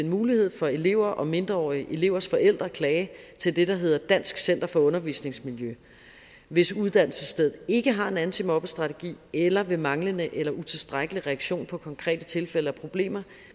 mulighed for elever og mindreårige elevers forældre at klage til det der hedder dansk center for undervisningsmiljø hvis uddannelsesstedet ikke har en antimobbestrategi eller ved manglende eller utilstrækkelig reaktion på konkrete tilfælde af problemer